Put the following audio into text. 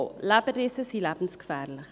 Leberrisse sind lebensgefährlich.